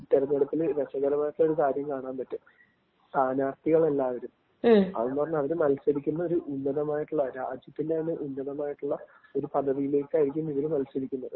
തിരഞ്ഞെടുപ്പില് രസകരമായിട്ടുള്ള ഒരു കാര്യം കാണാൻ പറ്റും. സ്ഥാനാർത്ഥികളെല്ലാപേരും അവര് മത്സരിക്കുന്ന ഒരു ഉന്നതമായിട്ടുള്ള രാജ്യത്തിന്‍റെ തന്നെ ഉന്നതമായിട്ടുള്ള ഒരു പദവിയിലേക്കായിരിക്കും ഇവർ മത്സരിക്കുന്നത്.